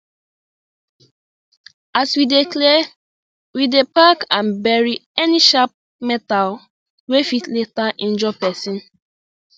as we dey clear we dey pack and bury any sharp metal wey fit later injure person